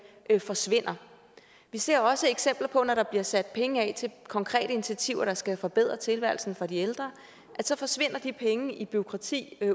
forsvinder vi ser også eksempler på at når der bliver sat penge af til konkrete initiativer der skal forbedre tilværelsen for de ældre så forsvinder pengene i bureaukrati